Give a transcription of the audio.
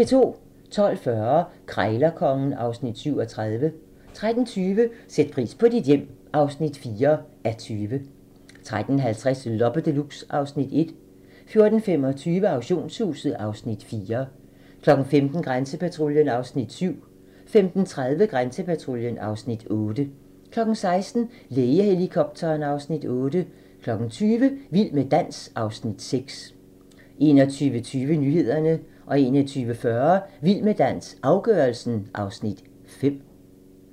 12:40: Krejlerkongen (Afs. 37) 13:20: Sæt pris på dit hjem (4:20) 13:50: Loppe Deluxe (Afs. 1) 14:25: Auktionshuset (Afs. 4) 15:00: Grænsepatruljen (Afs. 7) 15:30: Grænsepatruljen (Afs. 8) 16:00: Lægehelikopteren (Afs. 8) 20:00: Vild med dans (Afs. 6) 21:20: Nyhederne 21:40: Vild med dans - afgørelsen (Afs. 5)